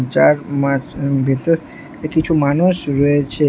যার মাঝ ভেতর কিছু মানুষ রয়েছে।